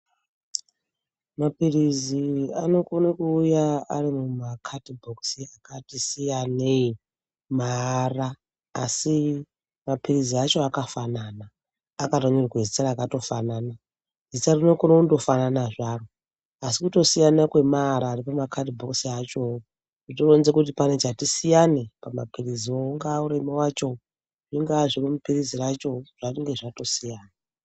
Maphirizi anokone kuuya ari mumakadhibhokisi akati siyanei maara kasi maphirizi acho akafanana akatonyorwe zita rakatofanana. Zita rinokone kundofanana zvaro asi kutosiyana kwamaara emakadhibhokisi achowo zvinoronze kuti pane chati siyane pamaphiriziwo ngaarimwo acho zvingawa zviri muphirizi racho zvange zvatosiyana.